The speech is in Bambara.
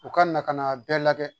U ka na ka n'a bɛɛ lajɛ